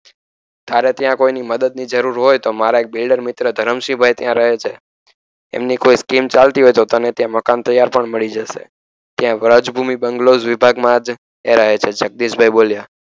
તારે ત્યાં કોઇની મદદ ની જરૂર હોય તો મારા એક બિલ્ડર મિત્ર ધરમ સિંહ ભાઈ ત્યાં રહે છે એમની કોઈ સ્કીમ ચાલતી હોય તો તને ત્યાં મકાન તૈયાર પણ મળી જસે ત્યાં વ્રજભૂમિ બંગલોસ વિભાગમાજ એ રહે છે જગદીશભાઇ બોલ્યા